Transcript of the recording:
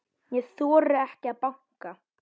Ég þori ekki að banka.